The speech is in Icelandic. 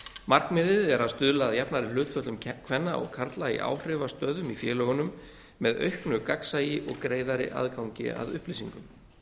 markmiðið er að stuðla að jafnari hlutföllum kvenna og karla í áhrifastöðum í félögunum með auknu gagnsæi og greiðari aðgangi að upplýsingum